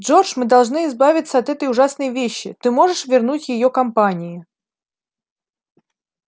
джордж мы должны избавиться от этой ужасной вещи ты можешь вернуть её компании